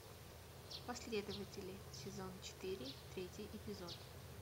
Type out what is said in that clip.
последователи сезон четыре третий эпизод